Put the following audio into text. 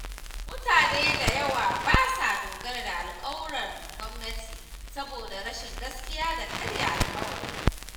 Mutane da yawa ba sa dogara da alƙawuran gwamnati saboda rashin gaskiya da karya alƙawari.